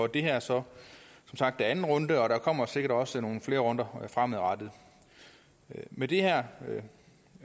det her er som sagt anden runde og der kommer sikkert også nogle flere runder fremadrettet med det her